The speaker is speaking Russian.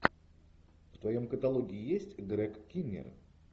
в твоем каталоге есть грег киннер